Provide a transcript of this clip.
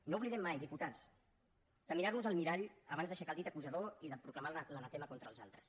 no oblidem mai diputats de mirar nos al mirall abans d’aixecar el dit acusador i de proclamar l’anatema contra els altres